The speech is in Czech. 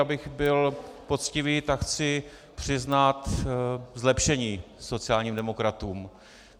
Abych byl poctivý, tak chci přiznat zlepšení sociálním demokratům.